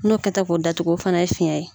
N'o kɛta k'o datugu o fana ye fiyɛn ye.